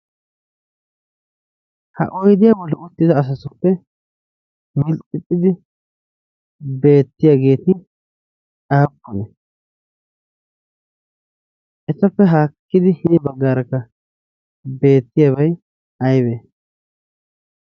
ha oidiyaa boli uttida asasuppe milxxixxidi beettiyaageeti aappone? ettappe haakkidi hini baggaarakka beettiyaabai aibe?